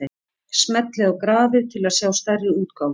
Smellið á grafið til að sjá stærri útgáfu.